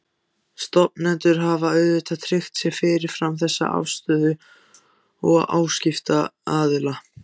Stofnendur hafa auðvitað tryggt sér fyrirfram þessa afstöðu áskriftaraðila.